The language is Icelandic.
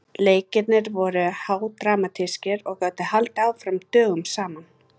Leikirnir voru hádramatískir og gátu haldið áfram dögum saman.